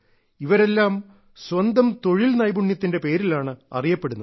ഇവരെല്ലാം സ്വന്തം തൊഴിൽ നൈപുണ്യത്തിന്റെ പേരിലാണ് അറിയപ്പെടുന്നത്